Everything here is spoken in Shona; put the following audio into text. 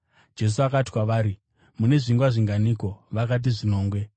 Jesu akati kwavari, “Mune zvingwa zvinganiko?” Vakati, “Zvinomwe.”